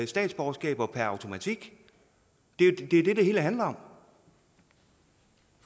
statsborgerskaber per automatik det er det det hele handler